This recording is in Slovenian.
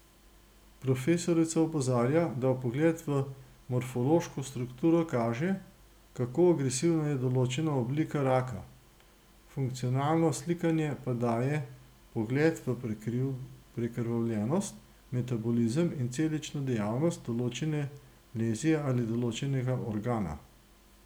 Profesorica opozarja, da vpogled v morfološko strukturo kaže, kako agresivna je določena oblika raka, funkcionalno slikanje pa daje vpogled v prekrvljenost, metabolizem in celično dejavnost določene lezije ali določenega organa.